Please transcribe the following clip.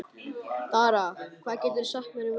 Dara, hvað geturðu sagt mér um veðrið?